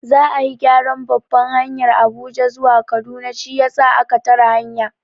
Za'a yi gyaran babbar hanyar Abuja zuwa Kaduna shiyasa a ka tare hanyar.